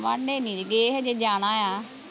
ਵਾਂਢੇ ਨਹੀਂ ਗਏ ਹਜੇ ਜਾਣਾ ਆ